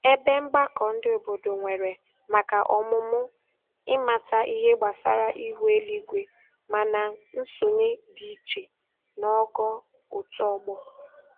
Ebe mgbakọ ndị obodo nwere maka ọmụmụ ịmata ihe gbasara ihu eluigwe, mana nsonye dị iche n'ogo otu ọgbọ.